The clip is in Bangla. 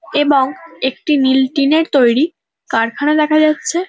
এবং একটি নীল টিন -এর তৈরি কারখানা দেখা যাচ্ছে।